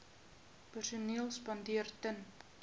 perseel spandeer ten